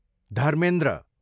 Dharmendra